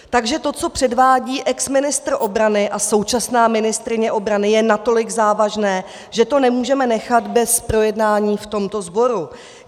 Takže to, co předvádí exministr obrany a současná ministryně obrany, je natolik závažné, že to nemůžeme nechat bez projednání v tomto sboru.